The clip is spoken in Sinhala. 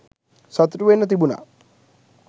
සතුටු වෙන්න තිබුණා